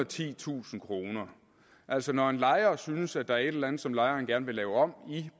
titusind kroner altså når en lejer synes at der er et eller andet som lejeren gerne vil lave om i